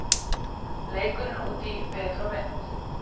Leikurinn útí veður og vind